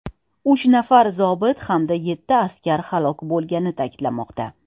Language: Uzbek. Uch nafar zobit hamda yetti askar halok bo‘lgani ta’kidlanmoqda.